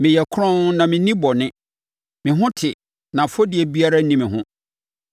‘Meyɛ kronn na menni bɔne; me ho te na afɔdie biara nni me ho.